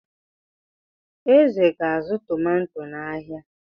Eze ga-azụ tomato n'ahịa.